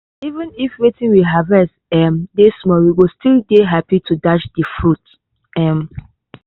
even if wetin we harvest um dey small we go still dey happy to dash de fruits. um